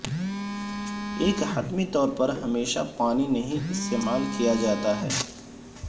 ایک حتمی طور پر ہمیشہ پانی نہیں استعمال کیا جاتا ہے